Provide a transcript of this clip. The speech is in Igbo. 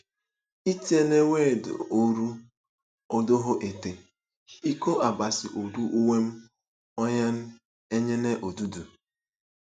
Itien̄wed oro ọdọhọ ete: “ Ikọ Abasi odu uwem onyụn̄ enyene odudu.